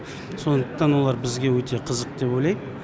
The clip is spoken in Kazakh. сондықтан олар бізге өте қызық деп ойлаймын